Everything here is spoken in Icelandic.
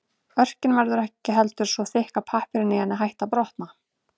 Örkin verður ekki heldur svo þykk að pappírinn í henni hætti að brotna.